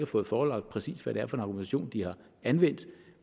fået forelagt præcis hvad det er for en argumentation de har anvendt